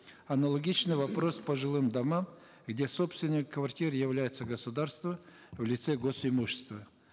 аналогичный вопрос по жилым домам где собственником квартиры является государство в лице гос имущества